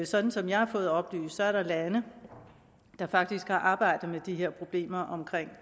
sådan som jeg har fået oplyst er der lande der faktisk har arbejdet med de her problemer omkring